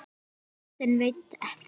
Sonur þinn veit þetta.